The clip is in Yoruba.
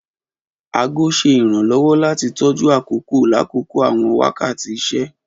Aago ṣe iranlọwọ lati tọju akoko lakoko awọn wakati iṣẹ.